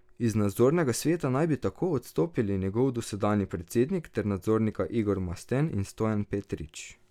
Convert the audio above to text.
Iz nadzornega sveta naj bi tako odstopili njegov dosedanji predsednik ter nadzornika Igor Masten in Stojan Petrič.